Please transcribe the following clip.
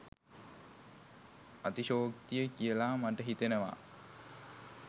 අතිශයෝක්තිය කියලා මට හිතෙනවා.